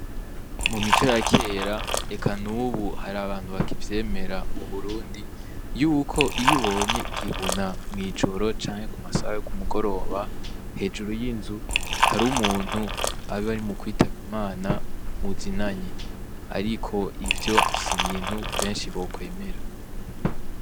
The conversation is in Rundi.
Mu mico ya kera eka n'ubu har'abantu bakivyemera mu BURUNDI yuko iyo ubonye igihuna mw'ijoro canke ku masaha yo ku mugoroba hejuru y'inzu, hariho umuntu aba ari mukwitaba Imana muzinanyi. Ariko ivyo si ibintu benshi bokwemera.